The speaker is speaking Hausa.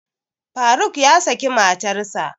Faruk ya saki matarsa